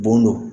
Bon don